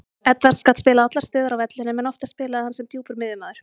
Edwards gat spilað allar stöður á vellinum en oftast spilaði hann sem djúpur miðjumaður.